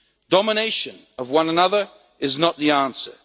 past. Domination of one another is not the answer.